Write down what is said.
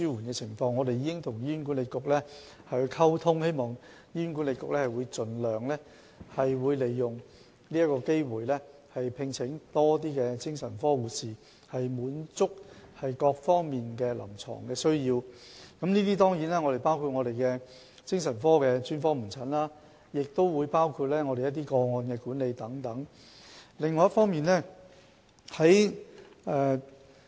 我們會與醫管局溝通，希望醫管局盡量利用這個機會，聘請更多精神科護士，以滿足各方面的臨床需要，當然包括精神科專科門診服務及個案管理等方面的需求。